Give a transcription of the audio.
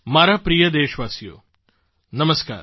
મારા પ્રિય દેશવાસીઓ નમસ્કાર